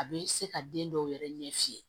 A bɛ se ka den dɔw yɛrɛ ɲɛf'i ye